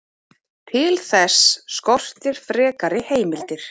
Til þess skortir frekari heimildir.